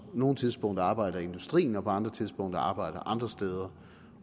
nogle tidspunkter arbejder i industrien og på andre tidspunkter arbejder andre steder